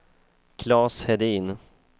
Claes Hedin